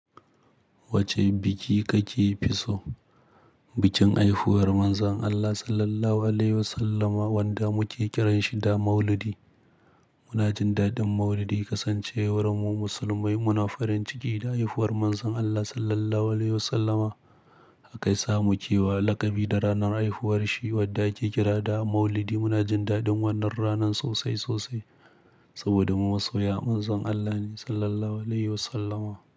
Wace biki kake fi so, bikin haifuwar Manzon Allah Sallallahu Alaihi Wasallama wanda muke kiranshi da Maulidi. Muna jin daɗin Maulidi, kasancewar mu musulmai muna farin ciki da haifuwar Manzon Allah Sallallahu Alaihi Wasallama. Hakai samu kewa lakabi da ranar haifuwar shi wadda ake kira da Maulidi muna jin daɗin wannan ranan sosai sosai saboda mu masoya Manzon Allah ne Sallallahu Alaihi Wasallama.